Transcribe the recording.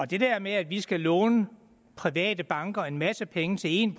det der med at vi skal låne private banker en masse penge til en